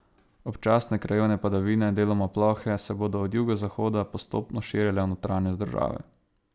Občasne krajevne padavine, deloma plohe, se bodo od jugozahoda postopno širile v notranjost države.